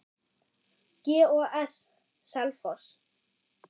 GOS- Selfoss